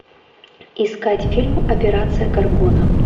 искать фильм операция горгона